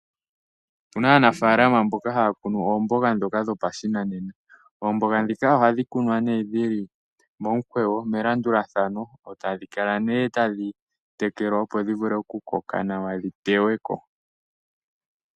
Opu na aanafaalama mboka haya kunu oomboga ndhoka dhopashinanena. Oomboga ndhika ohadhi kunwa nee dhi li momukweyo melandulathano, e tadhi kala tadhi tekelwa, opo dhi vule okukoka nawa dhi teywe ko.